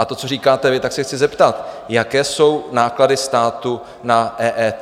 A to, co říkáte vy, tak se chci zeptat, jaké jsou náklady státu na EET?